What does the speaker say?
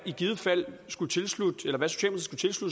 i givet fald skulle tilslutte